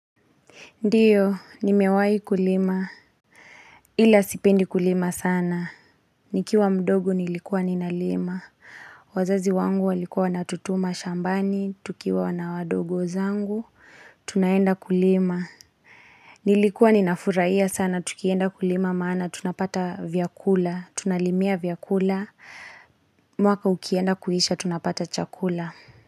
Ndiyo, ni mewai kulima. Ila sipendi kulima sana. Nikiwa mdogo nilikuwa ninalima. Wazazi wangu walikuwa na tutuma shambani, tukiwa na wadogo zangu. Tunaenda kulima. Nilikuwa ninafuraia sana, tukienda kulima maana, tunapata vyakula, tunalimia vyakula. Mwaka ukienda kuhisha, tunapata chakula.